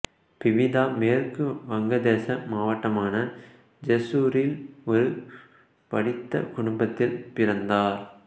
பபிதா மேற்கு வங்கதேச மாவட்டமான ஜெஸ்சூரில் ஒரு படித்த குடும்பத்தில் பிறந்தார்